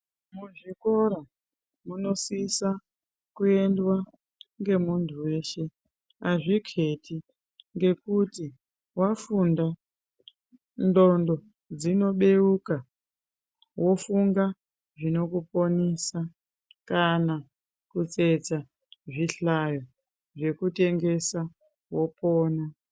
Muzvikora munosisa kuendwa ngemundu weshe azviketi ngekuti wafunda nglondo dzinobeuka wofunga zvinokuponesa kana kutsetsa zvihlayo zvekutengesa wopona.